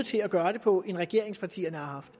sige at gøre det på end regeringspartierne har haft